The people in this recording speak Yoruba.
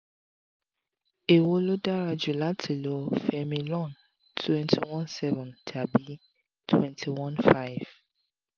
èwo ló dára jù láti lo femilon twenty one seven tàbí twenty one five?